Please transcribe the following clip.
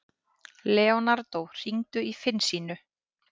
Leonardo, hringdu í Finnsínu.